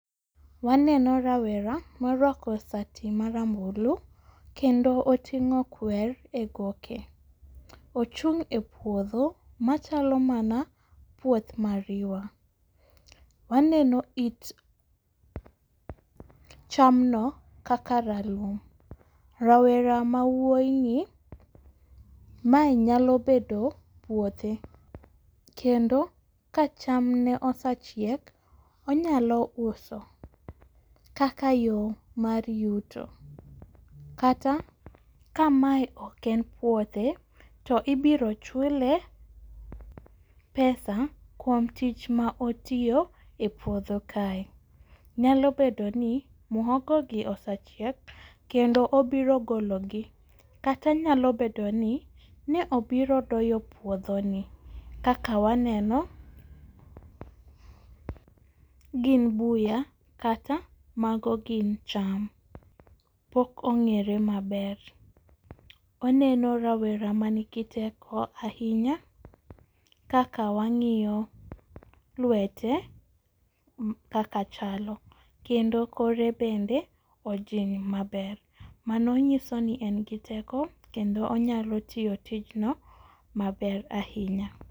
Waneno rawera morwako sati marambulu kendo oting'o kwer e goke, ochung' e puodho machalo mana puoth mariwa. Waneno it chamno kaka ralum, rawera mawuoyini mae nyalo bedo puothe, kendo kacham ne osechiek, onyalo uso kaka yo mar yuto, kata kamae ok en puothe to ibiro chule pesa kuom tich ma otiyo e puodho kae, nyalo bedo ni muhogo gi osechiek kendo obiro gologi, kata nyalo bedo ni ne obiro doyo puodhoni kaka waneno gin buya kata mago gin cham. Pok ong'ere maber. oneno rawera manigi teko ahinya kaka wang'iyo lwete kaka chalo kendo kore bedo ojing' maber, mano nyiso ni en gi teko kendo onyalo tiyo tijno maber ahinya.